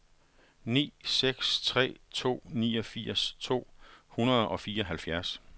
ni seks tre to niogfirs to hundrede og fireoghalvfjerds